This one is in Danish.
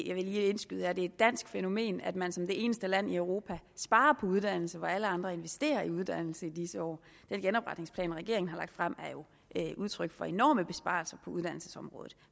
jeg vil lige indskyde at det er et dansk fænomen at man som det eneste land i europa sparer på uddannelse hvor alle andre investerer i uddannelse i disse år den genopretningsplan regeringen har lagt frem er jo et udtryk for enorme besparelser på uddannelsesområdet